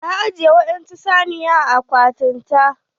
Ta ajiye waɗansu saniya a akwatin ta.